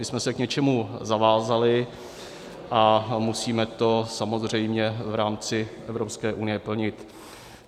My jsme se k něčemu zavázali a musíme to samozřejmě v rámci Evropské unie plnit.